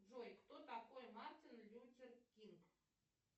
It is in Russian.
джой кто такой мартин лютер кинг